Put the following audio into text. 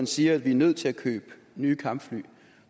siger at vi er nødt til at købe nye kampfly